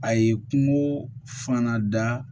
A ye kungo fana da